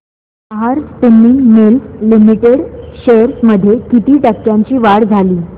Nahar spinning mills limited shares मध्ये किती टक्क्यांची वाढ झाली